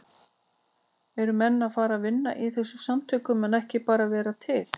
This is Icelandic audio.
Eru menn að fara að vinna í þessum samtökum en ekki bara vera til?